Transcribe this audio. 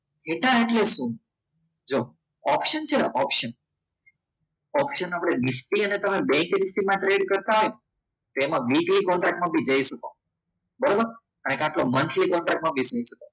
Theta એટલે શું? જો ઓપ્શન છે અને ઓપ્શન ઓપ્શન આપણે નિફ્ટી અને બેંક કરન્સીમાં એડ કરતા હોય ને તો એમાં તમે મીડિયા કોન્ટ્રાક્ટમાં પણ જઈ શકો બરાબર પાંચનો monthly કોન્ટ્રાક્ટમાં